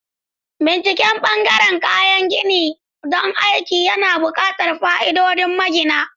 Binciken ɓangaren kayan gini don aikin yana buƙatar fa'idodin magina.